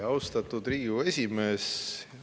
Austatud Riigikogu esimees!